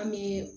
An bɛ